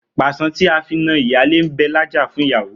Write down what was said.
Pàṣán tí a fi na ìyálé ń bẹ lájà fún ìyàwó